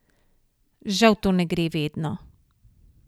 Žal to ne gre vedno.